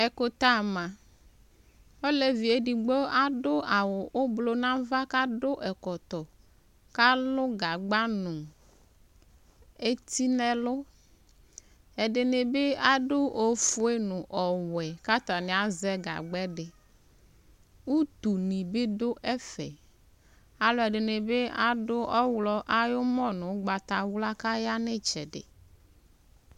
Ɛkʋtɛama Olevi yɛ edigbo adʋ awʋ ʋblʋ nʋ ava kʋ adʋ ɛkɔtɔ kʋ alʋ gagba nʋ eti nʋ ɛlʋ Ɛdɩnɩ bɩ adʋ ofue nʋ ɔwɛ kʋ atanɩ azɛ gagba yɛ dɩ Utunɩ bɩ dʋ ɛfɛ Alʋɛdɩnɩ bɩ adʋ ɔɣlɔ ayʋ ʋmɔ nʋ ʋgbatawla kʋ aya nʋ ɩtsɛdɩ